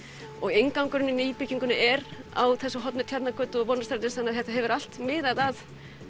inngangurinn í nýbyggingunni er á þessu horni Tjarnargötu og Vonarstrætis þetta hefur allt miðað að